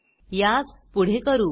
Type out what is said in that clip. यास पुढे करू